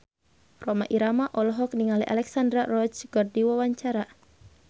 Rhoma Irama olohok ningali Alexandra Roach keur diwawancara